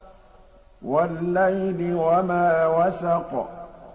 وَاللَّيْلِ وَمَا وَسَقَ